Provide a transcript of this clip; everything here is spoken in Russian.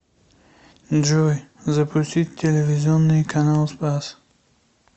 джой запустить телевизионный канал спас